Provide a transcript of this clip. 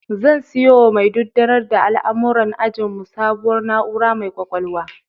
Zan siyowa mai dudanar da al'amuran ajinmu sabuwar na'ura mai ƙwaƙwalwa.